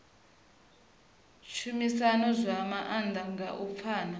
tshumisano zwa maanḓa nga u pfana